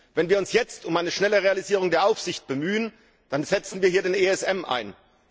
Wenn wir uns jetzt um eine schnelle Realisierung der Aufsicht bemühen, dann setzen wir hier den ESM ein.